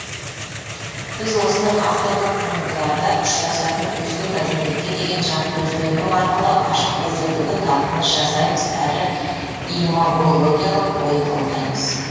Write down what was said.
біз осыны авторлық туындыларда ұшырасатын өзге мәдениетке деген жаткөздену арқылы ашып көрсетуге талпыныс жасаймыз әрі имагологиялық ой толғаймыз